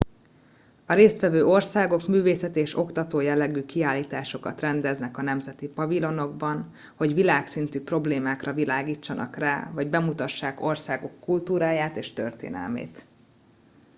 a résztvevő országok művészeti és oktató jellegű kiállításokat rendeznek a nemzeti pavilonokban hogy világszintű problémákra világítsanak rá vagy bemutassák országuk kultúráját és történelmét